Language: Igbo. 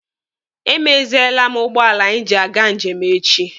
Emeziele m ụgbọala anyị ji aga njem echi.